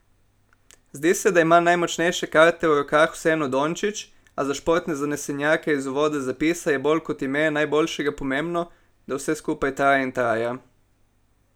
Zdi se, da ima najmočnejše karte v rokah vseeno Dončić, a za športne zanesenjake iz uvoda zapisa je bolj kot ime najboljšega pomembno, da vse skupaj traja in traja ...